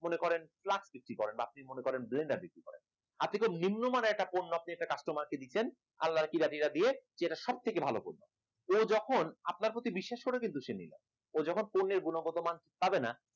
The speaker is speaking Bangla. মনে করেন plastic বিক্রি করেন মনে করেন blender বিক্রি করেন আপনি তো নিম্নমানের একটা পণ্যকে customer কে দিচ্ছেন আল্লার কিরাটিরা দিয়ে যে এটা সবথেকে ভালো ও যখন আপনার প্রতি বিশ্বাস করে সে নলি ও যখন পণ্যের গুণগতমান পাবেনা